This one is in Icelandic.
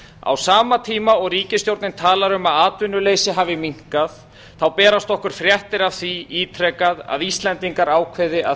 á sama tíma og ríkisstjórnin talar um að atvinnuleysi hafi minnkað berast okkur fréttir af því ítrekað að íslendingar ákveði að